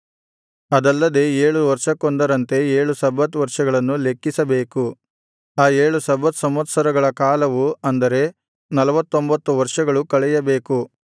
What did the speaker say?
ಅದಲ್ಲದೆ ಏಳು ವರ್ಷಕ್ಕೊಂದರಂತೆ ಏಳು ಸಬ್ಬತ್ ವರ್ಷಗಳನ್ನು ಲೆಕ್ಕಿಸಬೇಕು ಆ ಏಳು ಸಬ್ಬತ್ ಸಂವತ್ಸರಗಳ ಕಾಲವು ಅಂದರೆ ನಲ್ವತ್ತೊಂಭತ್ತು ವರ್ಷಗಳು ಕಳೆಯಬೇಕು